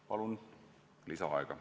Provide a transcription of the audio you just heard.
Palun lisaaega!